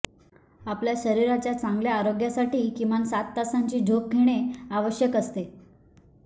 आपल्या शरीराच्या चांगल्या आरोग्यासाठी किमान सात तासांची झोप घेणे आवश्यक असते